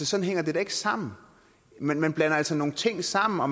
sådan hænger det da ikke sammen man man blander altså nogle ting sammen og